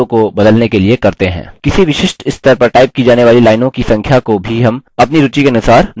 किसी विशिष्ट स्तर पर टाइप की जाने वाली लाइनों की संख्या को भी हम अपनी रूचि के अनुसार निर्धारित कर सकते हैं